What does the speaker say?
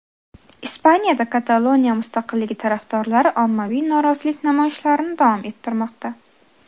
Ispaniyada Kataloniya mustaqilligi tarafdorlari ommaviy norozilik namoyishlarini davom ettirmoqda.